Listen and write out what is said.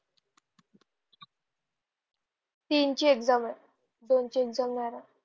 तिन ची exame आहे दोन ची exame नाही राहे